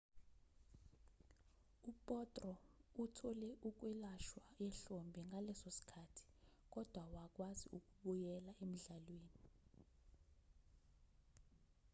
u-potro uthole ukwelashwa ehlombe ngaleso sikhathi kodwa wakwazi ukubuyela emdlalweni